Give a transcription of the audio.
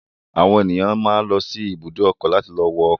Àwọn ènìyàn máa ń lọ ibùdó ọkọ̀ láti lọ wọ ọkọ̀.